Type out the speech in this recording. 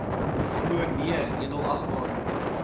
glo nee edelagbare